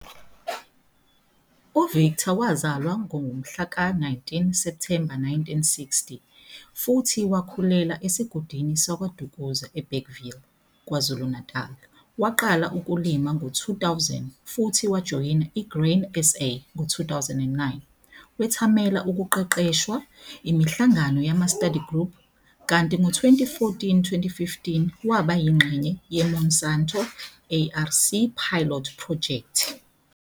U-Victor wazalwa ngomhla ka-19 Septhemba 1960 futhi wakhulela esigodini sakwaDukuza eBergville, KwaZulu-Natal. Waqala ukulima ngo-2000 futhi wajoyina i-Grain SA ngo-2009, wethamela ukuqeqeshwa, imihlangano yama-study group kanti ngo-2014, 2015 waba yingxenye yeMonsanto, ARC pilot phrojekthi.